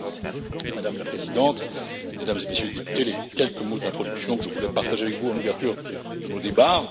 Voilà, Madame la Présidente, Mesdames et Messieurs les députés, les quelques mots d'introduction que je voulais partager avec vous en ouverture de nos débats.